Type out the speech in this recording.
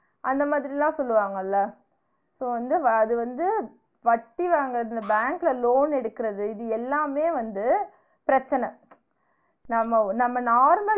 அந்த மாதிரி எல்லா சொல்வாங்கள so வந்து வ அது வந்து வட்டி வாங்றது bank ல loan எடுக்றது இது எல்லாமே வந்து பிரச்சன நம்ம நம்ம normal